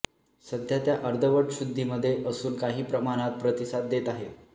सध्या त्या अर्धवट शुद्धीमध्ये असून काही प्रमाणात प्रतिसाद देत आहेत